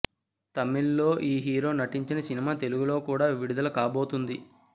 తమిళ్ లో ఈ హీరో నటించిన సినిమా తెలుగులో కూడా విడుదల కాబోతుంది